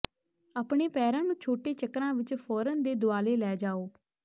ਆਪਣੇ ਪੈਰਾਂ ਨੂੰ ਛੋਟੇ ਚੱਕਰਾਂ ਵਿੱਚ ਫੌਰਨ ਦੇ ਦੁਆਲੇ ਲੈ ਜਾਓ